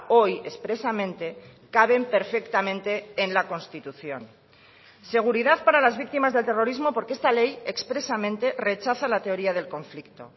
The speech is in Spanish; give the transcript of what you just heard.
hoy expresamente caben perfectamente en la constitución seguridad para las víctimas del terrorismo porque esta ley expresamente rechaza la teoría del conflicto